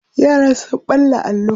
yaran sun ɓalla allo